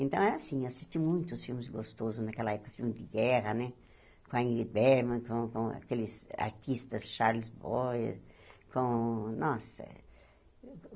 Então, é assim, eu assisti muitos filmes gostosos naquela época, filmes de guerra né, com a Ingrid Bergman, com com aqueles artistas, Charles Boyd, com... Nossa!